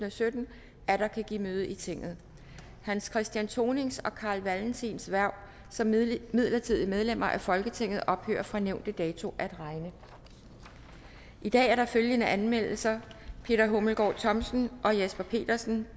og sytten atter kan give møde i tinget hans christian thonings og carl valentins hverv som midlertidige medlemmer af folketinget ophører fra nævnte dato at regne i dag er der følgende anmeldelser peter hummelgaard thomsen og jesper petersen